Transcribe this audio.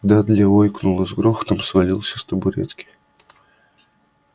дадли ойкнул и с грохотом свалился с табуретки